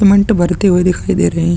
Cement भरते हुए दिखाई दे रहे है।